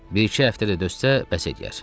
Bir-iki həftə də dözsə, bəs eləyər.